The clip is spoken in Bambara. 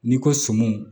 N'i ko sɔmiw